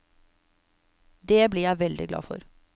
Det blir jeg veldig glad for.